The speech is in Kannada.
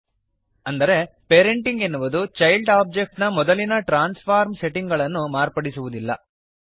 ಹೀಗೆಂದರೆ ಪೇರೆಂಟಿಂಗ್ ಎನ್ನುವುದು ಚೈಲ್ಡ್ ಒಬ್ಜೆಕ್ಟ್ ನ ಮೊದಲಿನ ಟ್ರಾನ್ಸ್ಫಾರ್ಮ್ ಸೆಟ್ಟಿಂಗ್ ಗಳನ್ನು ಮಾರ್ಪಡಿಸುವದಿಲ್ಲ